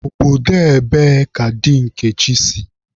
Obodo ebee ka di Nkechi si?